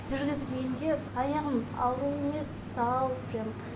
жүргізгенде аяғым ауру емес сау прям